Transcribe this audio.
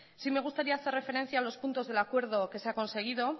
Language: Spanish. sí me gustaría hacer referencia a los puntos del acuerdo que se ha conseguido